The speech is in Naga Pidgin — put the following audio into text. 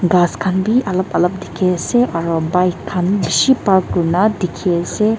ghass khan bhi alop alop dikhi ase aro bike khan bishi park kuri na dikhi ase.